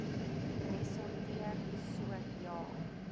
ressorteer so ja